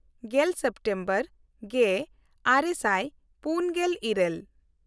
ᱜᱮᱞ ᱥᱮᱯᱴᱮᱢᱵᱚᱨ ᱜᱮᱼᱟᱨᱮ ᱥᱟᱭ ᱯᱩᱱᱜᱮᱞ ᱤᱨᱟᱹᱞ